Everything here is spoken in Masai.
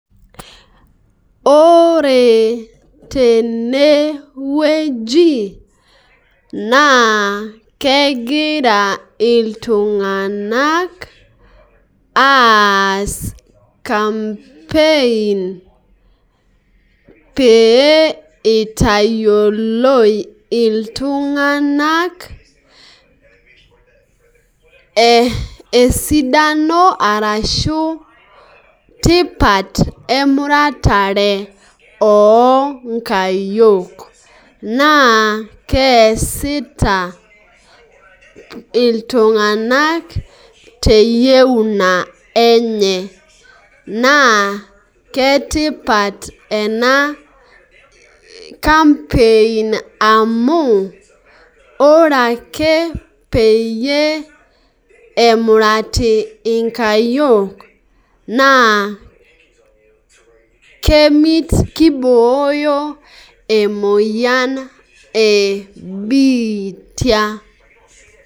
Ore tenewueji naa kegira iltunganak aas campaign pee itayioloi iltunganak esidano arashu tipat emuratare oonkayiook naa keesita iltunganak teyieuna enye naa ketipat ena campaign amu ore ake peyie emurati inkayiok naa kibooyo emoyian ebiitia.